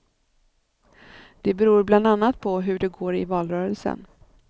Det beror bland annat på hur det går i valrörelsen.